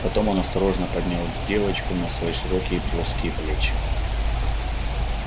потом он осторожно поднял девочку на свои широкие плоские плечи